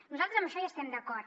nosaltres en això hi estem d’acord